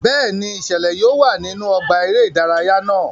Bẹẹni, iṣẹlẹ yóò wá nínú ọgbà eré ìdárayá náà